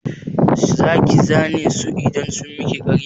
Za ki zane su idan sun miki ƙarya?